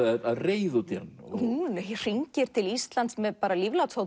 af reiði út í hann hún hringir til Íslands með